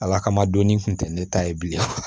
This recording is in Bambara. Ala kama donni kun tɛ ne ta ye bilen